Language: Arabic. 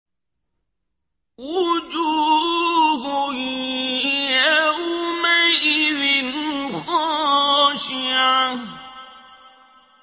وُجُوهٌ يَوْمَئِذٍ خَاشِعَةٌ